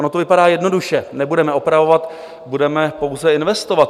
Ono to vypadá jednoduše - nebudeme opravovat, budeme pouze investovat.